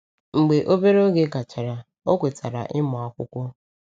Mgbe obere oge gachara, ọ kwetara ịmụ akwụkwọ.